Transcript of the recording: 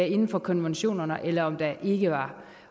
inden for konventionerne eller om der ikke var